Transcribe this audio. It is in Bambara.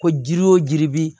Ko jiri wo jiri bi